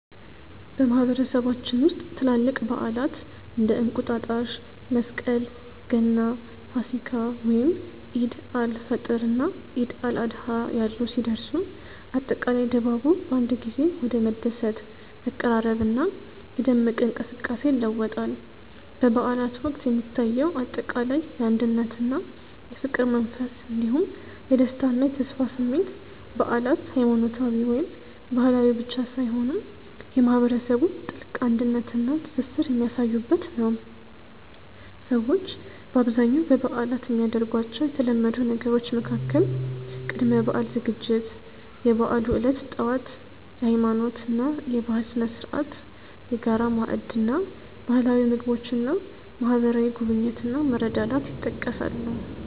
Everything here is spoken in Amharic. በማህበረሰባችን ውስጥ ትላልቅ በዓላት (እንደ እንቁጣጣሽ፣ መስቀል፣ ገና፣ ፋሲካ፣ ወይም ዒድ አል-ፈጥር እና ዒድ አል-አድሃ ያሉ) ሲደርሱ፣ አጠቃላይ ድባቡ በአንድ ጊዜ ወደ መደሰት፣ መቀራረብና የደመቀ እንቅስቃሴ ይለወጣል። በበዓላት ወቅት የሚታየው አጠቃላይ የአንድነትና የፍቅር መንፈስ እንዲሁም የደስታና የተስፋ ስሜት በዓላት ሃይማኖታዊ ወይም ባህላዊ ብቻ ሳይሆኑ የማህበረሰቡን ጥልቅ አንድነትና ትስስር የሚያሳዩበት ነው። ሰዎች በአብዛኛው በበዓላት የሚያደርጓቸው የተለመዱ ነገሮች መካከል ቅድመ-በዓል ዝግጅት፣ የበዓሉ ዕለት ጠዋት (የሃይማኖትና የባህል ስነ-ስርዓት)፣የጋራ ማዕድ እና ባህላዊ ምግቦች እና ማህበራዊ ጉብኝት እና መረዳዳት ይጠቀሳሉ።